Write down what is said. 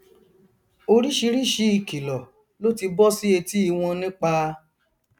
oríṣìíríṣìí ìkìlọ ló ti bọ sí etí i wọn nípa